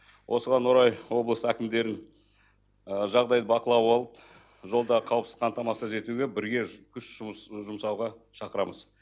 осыған орай облыс әкімдерін жағдайды бақылауға алып жолда қауіпсіз қамтамасыз етуге бірге күш жұмсауға шақырамыз